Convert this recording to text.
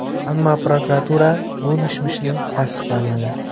Ammo prokuratura bu mishmishni tasdiqlamadi .